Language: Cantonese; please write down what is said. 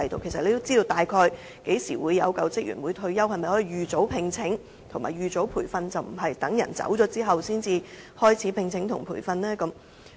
其實，署方知道員工大概何時退休，可否提早聘請和培訓，而不是待員工離職後才進行招聘和培訓？